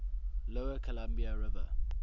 lower columbia river